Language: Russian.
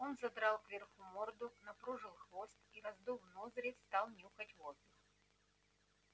он задрал кверху морду напружил хвост и раздув ноздри стал нюхать воздух